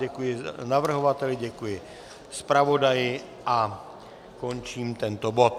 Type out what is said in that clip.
Děkuji navrhovateli, děkuji zpravodaji a končím tento bod.